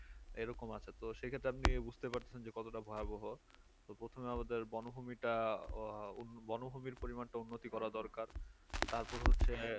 এরকম আছে তো সেক্ষেত্রে আপনি বুজতে পারছেন যে কতটা ভয়াবহ তো প্রথমে আমাদের বনভূমিটা আহ বনভূমির পরিমানটা উন্নতি করা দরকার তারপর হচ্ছে